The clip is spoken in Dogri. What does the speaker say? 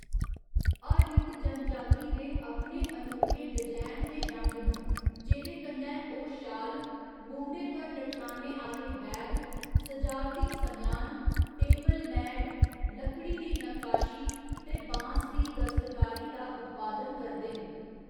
हर इक जनजाति दे अपने अनोखे डजैन ते रंग न, जेह्‌‌‌दे कन्नै ओह्‌‌ शाल, मूंढे पर लटकाने आह्‌‌‌ले बैग, सजावटी समेआन, टेबल मैट, लकड़ी दी नक्काशी ते बांस दी दस्तकारी दा उत्पादन करदे न।